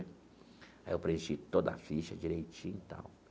Aí eu preenchi toda a ficha direitinho e tal.